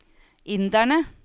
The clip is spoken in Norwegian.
inderne